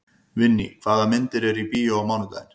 Vinný, hvaða myndir eru í bíó á mánudaginn?